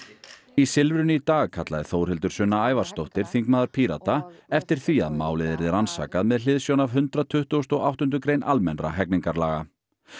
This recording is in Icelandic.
í Silfrinu í dag kallaði Þórhildur Sunna Ævarsdóttir þingmaður Pírata eftir því að málið yrði rannsakað með hliðsjón af hundrað tuttugasta og áttundu grein hegningarlaga